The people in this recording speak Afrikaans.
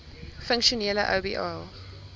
funksionele oba